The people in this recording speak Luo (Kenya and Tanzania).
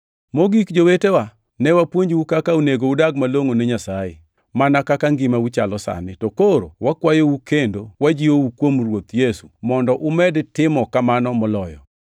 Mogik, jowetewa, ne wapuonjou kaka onego udag malongʼo ne Nyasaye, mana kaka ngimau chalo sani. To koro wakwayou kendo wajiwou kuom Ruoth Yesu mondo umed timo kamano moloyo.